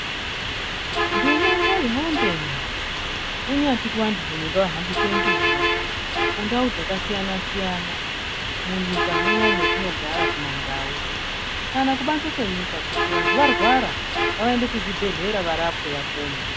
Nduma ngaihambe naa kunyati kuvantu rume ngavahambise nduma kundau dzakasiyana siyana munyika munomu mwetinogara kumandau kana kubanze kwenyika kuti vantu varwara ngavaende kuzvibhedhlera varapwe vapone.